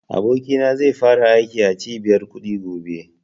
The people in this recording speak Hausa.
Abokina zai fara aiki a cibiyar kuɗi gobe